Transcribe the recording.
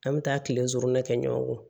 An bɛ taa tile kɛ ɲɔgɔn kɔ